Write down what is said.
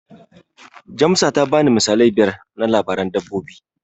Jamsa ta bani misalai biyar na labaran dabbobi.